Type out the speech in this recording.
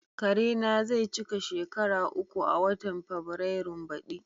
Karena zai cika shekara uku a watan Fabrairun baɗi.